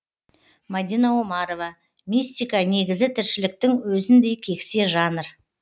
мадина омарова мистика негізі тіршіліктің өзіндей кексе жанр